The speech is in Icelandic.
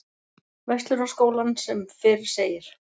Verslunarskólann sem fyrr segir.